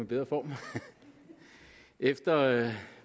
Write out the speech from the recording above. bedre form efter